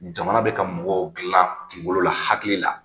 Jamana bɛ ka mɔgɔw dilan kungolo la hakili la